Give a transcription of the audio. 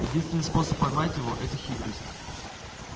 единственный способ поймать его это хитрость